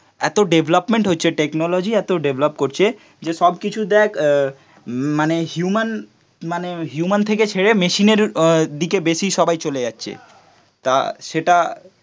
এত ডেভেলপমেন্ট হচ্ছে টেকনোলজি এত ডেভেলপ করছে যে সব কিছু দেখ মানে হিউম্যান মানে হিউম্যান থেকে ছেড়ে মেশিনের দিকে বেশি সবাই চলে যাচ্ছে. তা সেটা